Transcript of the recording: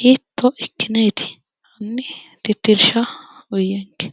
hiitto ikkineeti? hanni titirshsha uuyiyenke.